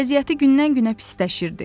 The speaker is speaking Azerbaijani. Vəziyyəti gündən-günə pisləşirdi.